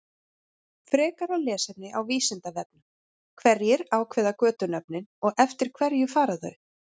Frekara lesefni á Vísindavefnum: Hverjir ákveða götunöfnin og eftir hverju fara þau?